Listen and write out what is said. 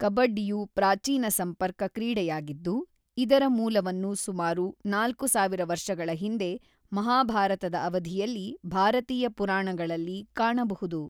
ಕಬಡ್ಡಿಯು ಪ್ರಾಚೀನ ಸಂಪರ್ಕ ಕ್ರೀಡೆಯಾಗಿದ್ದು, ಇದರ ಮೂಲವನ್ನು ಸುಮಾರು ನಾಲ್ಕುಸಾವಿರ ವರ್ಷಗಳ ಹಿಂದೆ ಮಹಾಭಾರತದ ಅವಧಿಯಲ್ಲಿ ಭಾರತೀಯ ಪುರಾಣಗಳಲ್ಲಿ ಕಾಣಬಹುದು.